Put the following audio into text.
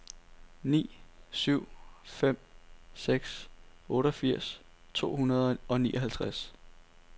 ni syv fem seks otteogfirs to hundrede og nioghalvtreds